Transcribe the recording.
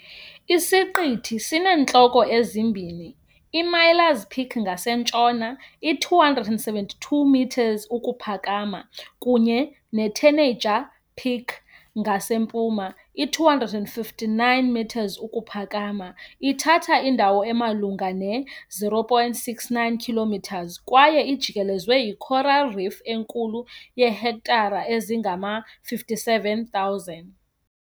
Isiqithi sineentloko ezimbini, iMiller's Peak ngasentshona, i-272 m ukuphakama kunye ne-Tanager Peak ngasempuma, i-259 m ukuphakama, ithatha indawo emalunga ne-0.69 km 2 kwaye ijikelezwe yi-coral reef enkulu yeehektare ezingama-57,000.